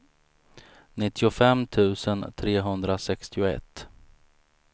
nittiofem tusen trehundrasextioett